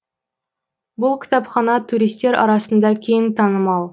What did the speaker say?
бұл кітапхана туристер арасында кең танымал